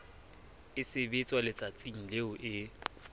e sebetswa letsatsing leo e